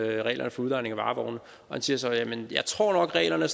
reglerne for udlejning af varevogne og han siger så jamen jeg tror nok reglerne er